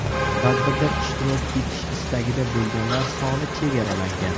Tadbirda ishtirok etish istagida bo‘lganlar soni chegaralangan.